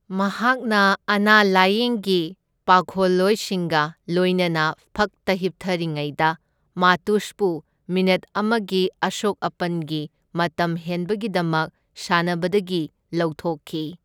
ꯃꯍꯥꯛꯅ ꯑꯅꯥ ꯂꯥꯢꯌꯦꯡꯒꯤ ꯄꯥꯈꯣꯜꯂꯣꯏꯁꯤꯡꯒ ꯂꯣꯏꯅꯅ ꯐꯛꯇ ꯍꯤꯞꯊꯔꯤꯉꯩꯗ, ꯃꯥꯇꯨꯁꯄꯨ ꯃꯤꯅꯤꯠ ꯑꯃꯒꯤ ꯑꯁꯣꯛ ꯑꯄꯟꯒꯤ ꯃꯇꯝ ꯍꯦꯟꯕꯒꯤꯗꯃꯛ ꯁꯥꯟꯅꯕꯗꯒꯤ ꯂꯧꯊꯣꯛꯈꯤ꯫